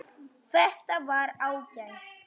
Þetta var ágætt